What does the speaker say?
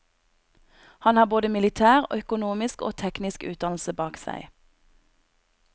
Han har både militær, økonomisk og teknisk utdannelse bak seg.